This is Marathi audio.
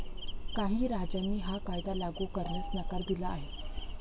काही राज्यांनी हा कायदा लागू करण्यास नकार दिला आहे.